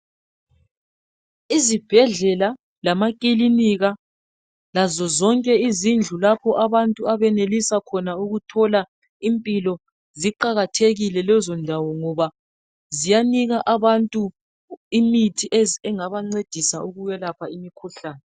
Izibhedlela, amakilinika, lazozonke izindlu lapho abantu abenelisa khona ukuthola impilo ziqakathekile lezondawo ngoba ziyanika abantu imithi engabancedisa ukwelapha imikhuhlane.